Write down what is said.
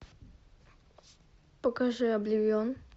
покажи обливион